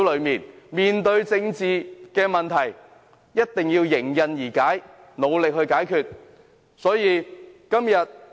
面對政治問題，必定要認真面對，努力尋找解決方法。